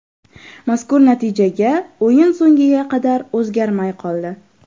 Mazkur natijaga o‘yin so‘ngiga qadar o‘zgarmay qoldi.